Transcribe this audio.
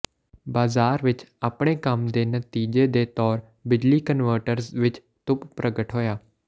ਬਾਜ਼ਾਰ ਵਿਚ ਆਪਣੇ ਕੰਮ ਦੇ ਨਤੀਜੇ ਦੇ ਤੌਰ ਬਿਜਲੀ ਕਨਵਟਰਜ਼ ਵਿੱਚ ਧੁੱਪ ਪ੍ਰਗਟ ਹੋਇਆ